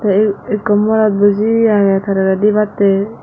te eh ekkonmorot buji agey tararey dibattey.